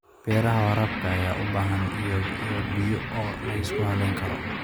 Beeraha waraabka ayaa u baahan ilo biyood oo la isku halleyn karo.